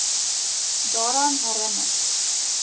daaraan herin ner